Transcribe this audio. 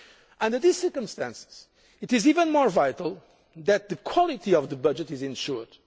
for. Under these circumstances it is even more vital that the quality of the budget is